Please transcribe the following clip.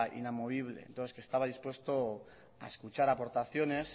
inamovible que estaba dispuesto a escuchar aportaciones